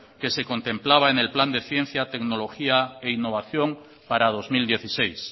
que se contemplaba en el plan de ciencia tecnología e innovación para dos mil dieciséis